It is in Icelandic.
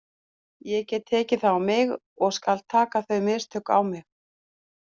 Ég get tekið það á mig og skal taka þau mistök á mig.